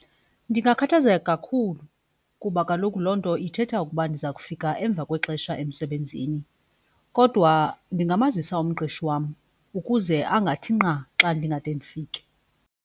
Ndingakhathazeka kakhulu kuba kaloku loo nto ithetha ukuba ndiza kufika emva kwexesha emsebenzini kodwa ndingamazisa umqeshi wam ukuze angathi nqa xa ndingade ndifike.